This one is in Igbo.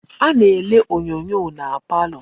A na-ele onyoonyo na palo.